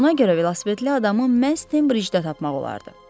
Ona görə velosipedli adamı məhz Tembridjdə tapmaq olardı.